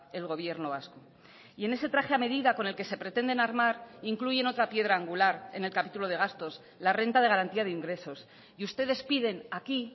el gobierno vasco y en ese traje a medida con el que se pretenden armar incluyen otra piedra angular en el capítulo de gastos la renta de garantía de ingresos y ustedes piden aquí